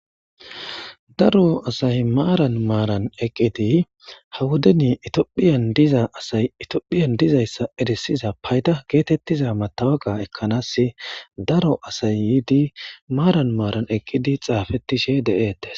Daro asay maaran maaran eqqidi hawodeni itiophiyan diza asay itiophiyan dizayssa eresiza payda geetettiza matawaqa ekkanaas daro asay yiidi maaran maaran eqqidi xaafettishe de7eete